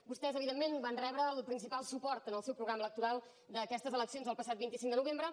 vostès evidentment van rebre el principal suport en el seu programa electoral d’aquestes eleccions el passat vint cinc de novembre